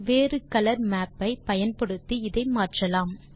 வேறு colour map ஐ பயன்படுத்தி இதை மாற்றலாம்